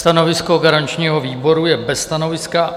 Stanovisko garančního výboru je bez stanoviska.